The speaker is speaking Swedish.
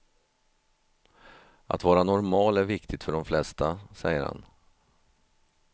Att vara normal är viktigt för de flesta, säger han.